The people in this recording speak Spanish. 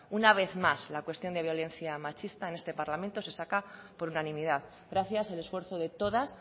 una vez más la cuestión de violencia machista en este parlamento se saca por unanimidad gracias el esfuerzo de todas